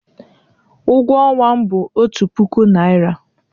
Ụgwọ ọnwa m bụ otu puku naira.